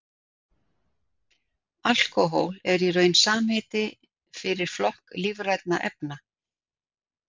Alkóhól er í raun samheiti fyrir flokk lífrænna efna.